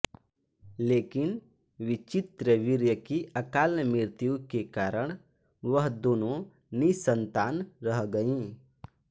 लेकिन विचित्रवीर्य की अकाल मृत्यु के कारण वह दोनों निःसंतान रह गयीं